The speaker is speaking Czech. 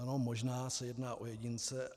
Ano, možná se jedná o jedince.